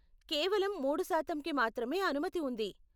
కేవలం మూడు శాతంకి మాత్రమే అనుమతి ఉంది.